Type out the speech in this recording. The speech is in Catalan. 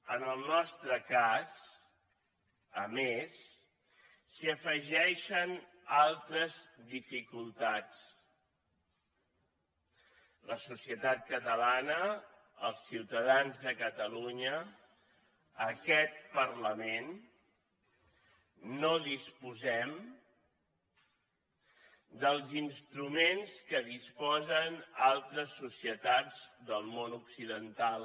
en el nostre cas a més s’hi afegeixen altres dificultats la societat catalana els ciutadans de catalunya aquest parlament no disposem dels instruments que disposen altres societats del món occidental